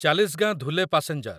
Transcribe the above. Chalisgaon Dhule passenger